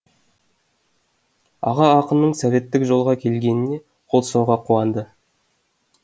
аға ақынның советтік жолға келгеніне қол соға қуанды